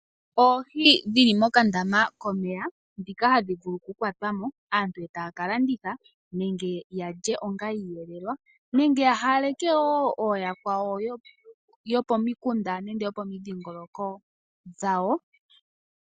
Oohi dhili mokandama komeya dhika hadhi vulu kukwatwa mo aantu e taya ka landitha nenge ya lye onga oshiyelelwa, nenge ya hawaleke wo ooyakwawo yo pomikunda nenge yopomidhingoloko dhawo.